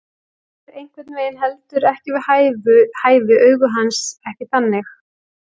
Er einhvern veginn heldur ekki við hæfi, augu hans ekki þannig.